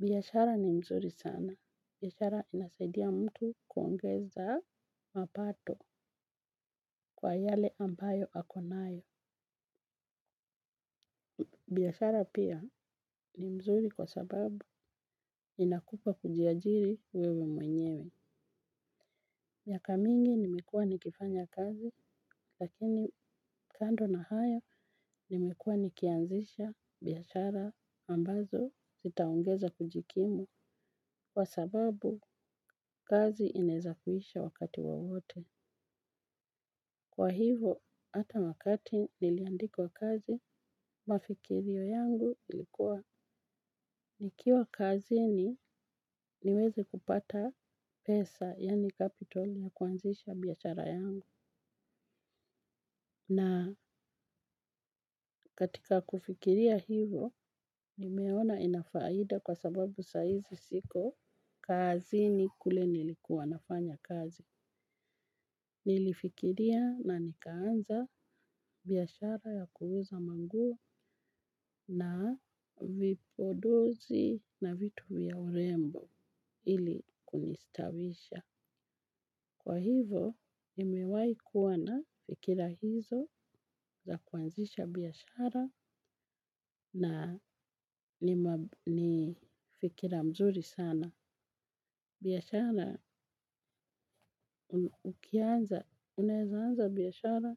Biashara ni mzuri sana. Biashara inasaidia mtu kuongeza mapato kwa yale ambayo akonayo. Biashara pia ni mzuri kwa sababu inakupa kujiajiri wewe mwenyewe. Miaka mingi nimekuwa nikifanya kazi lakini kando na hayo nimekuwa nikianzisha biashara ambazo zitaongeza kujikimu kwa sababu kazi inaweza kuisha wakati wowote. Kwa hivyo, hata wakati niliandikwa kazi, mawazo yangu yalikuwa nikiwa kazini niweze kupata pesa, yaani kapitali ya kuanzisha biashara yangu. Na katika kufikiria hivo, nimeona inafaida kwa sababu saizi siko kazi ni kule nilikuwa nafanya kazi. Nilifikiria na nikaanza biashara ya kuuza nguo na vipodozi na vitu vya urembo ili kunistawisha. Kwa hivyo, nimewahi kuwa na fikira hizo za kuanzisha biashara na ni fikira nzuri sana. Biashara ukianza, unaweza anza biashara,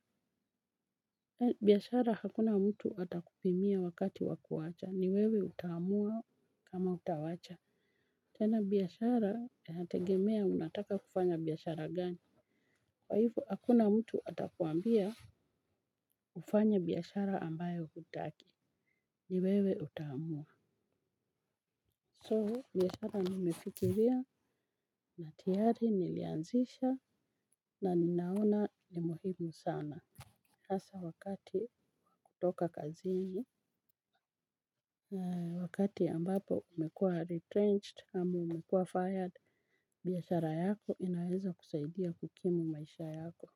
biashara hakuna mtu atakupimia wakati wa kuacha, ni wewe utaamua kama utaacha. Tena biashara inategemea unataka kufanya biashara gani. Kwa hivyo, hakuna mtu atakwambia ufanye biashara ambayo hutaki, ni wewe utaamua. So, biashara nimefikiria na tayari nilianzisha na ninaona ni muhimu sana. Hasa wakati wa kutoka kazini, wakati ambapo umekuwa retrenched, ama umekuwa fired, biashara yako inaweza kusaidia kukimu maisha yako.